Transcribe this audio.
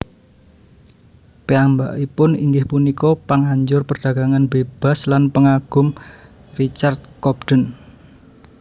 Piyambakipun inggih punika panganjur perdagangan bebas lan pangagum Richard Cobden